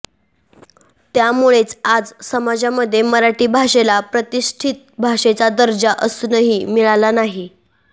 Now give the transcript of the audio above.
त्यामुळेचं आज समाजामध्ये मराठी भाषेला प्रतिष्ठित भाषेचा दर्जा अजूनही मिळाला नाही